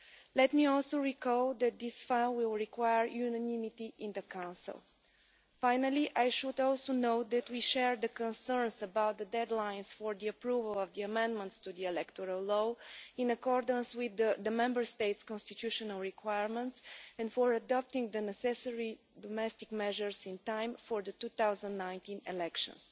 Let me also recall that this file will require unanimity in the Council. Finally, you should also know that we share the concerns about the deadlines for the approval of the amendments to the electoral law, in accordance with the Member States' constitutional requirements, and about adopting the necessary domestic measures in time for the 2019 elections.